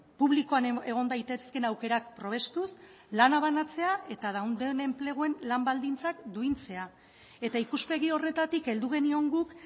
publikoan egon daitezkeen aukerak probestuz lana banatzea eta dauden enpleguen lan baldintzak duintzea eta ikuspegi horretatik heldu genion guk